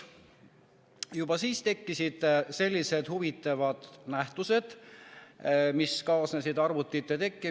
Juba siis tekkisid sellised huvitavad nähtused, mis kaasnesid arvutite tulekuga.